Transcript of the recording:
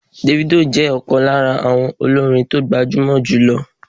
Davido jẹ́ ọ̀kan lára àwọn olórin tó gbajúmọ̀ jùlọ